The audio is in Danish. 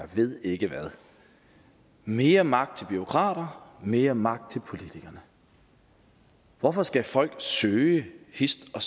ved ikke hvad mere magt til bureaukraterne mere magt til politikerne hvorfor skal folk søge hist og